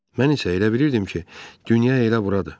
Mən isə elə bilirdim ki, dünya elə buradır.